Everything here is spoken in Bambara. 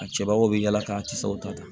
A cɛbaw bɛ yala k'a cɛw ta